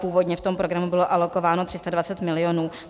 Původně v tom programu bylo alokováno 320 milionů.